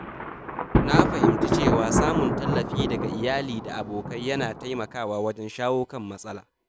Na fahimci cewa samun tallafi daga iyali da abokai yana taimakawa wajen shawo kan matsala.